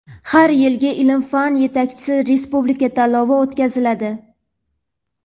har yilgi "Ilm-fan yetakchisi" respublika tanlovi o‘tkaziladi.